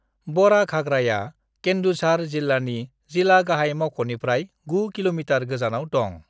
बड़ाघागराया केंदुझार जिल्लानि जिला गाहाय मावख'निफ्राय 9 किमी गोजानाव दं।